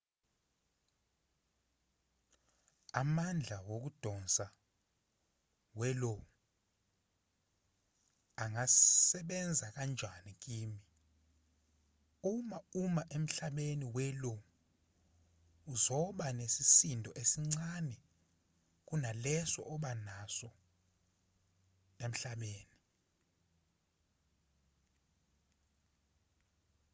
amandla wokudonsa we-io angasebenza kanjani kimi uma uma emhlabeni we-lo uzoba nesisindo esincane kunaleso oba naso emhlabeni